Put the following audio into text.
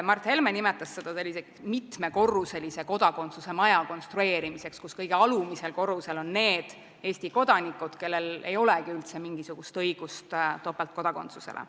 Mart Helme nimetas seda mitmekorruselise kodakondsuse maja konstrueerimiseks, kus kõige alumisel korrusel on need Eesti kodanikud, kellel ei olegi üldse mingisugust õigust topeltkodakondsusele.